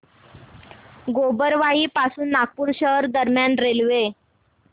गोबरवाही पासून नागपूर शहर दरम्यान रेल्वे